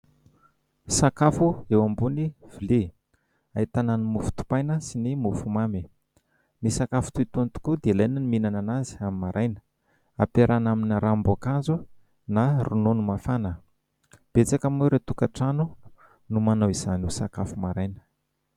Sakafo eo ambony vilia ahitana ny mofo dipaina sy ny mofomamy, ny sakafo toy itony tokoa dia ilaina ny mihinana azy amin'ny maraina ; ampiarahina amin'ny ranom-boankazo na ronono mafana. Betsaka moa ireo tokantrano no manao izany ho sakafo maraina.